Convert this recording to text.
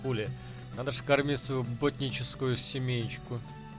надо же кормить в ботаническую семеечку